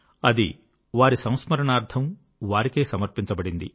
అది వారి సంస్మరణార్థం వారికే సమర్పింపబడింది